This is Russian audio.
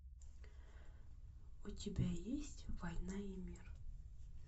у тебя есть война и мир